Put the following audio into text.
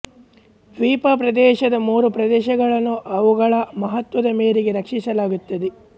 ದ್ವೀಪ ಪ್ರದೇಶದ ಮೂರು ಪ್ರದೇಶಗಳನ್ನು ಅವುಗಳ ಮಹತ್ವದ ಮೇರೆಗೆ ರಕ್ಷಿಸಲಾಗುತ್ತದೆ